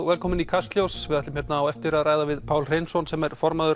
velkomin í Kastljós við ætlum á eftir að ræða við Pál Hreinsson sem er formaður